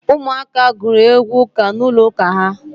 Ụmụ aka gụrụ egwu ụka n'ụlọ ụka ha.